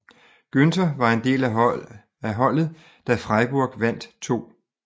Günter var del af holdet da Freiburg vandt 2